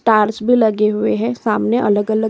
torch भी लगे हुए हैं सामने अलग-अलग--